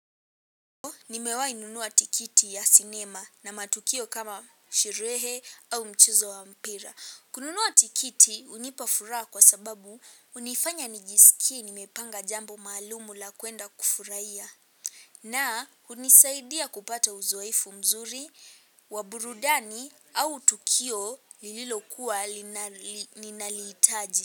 Nimewahi nunua tikiti ya sinema na matukio kama sherehe au mchezo wa mpira. Kununua tikiti hunipa furaha kwa sababu hunifanya nijikie nimepanga jambo maalum la kwenda kufurahia. Na hunisaidia kupata uziefu mzuri, wa burudani au tukio lililokuwa ninalihitaji.